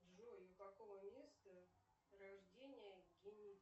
джой у какого места рождения